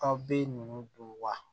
Aw bɛ ninnu don wa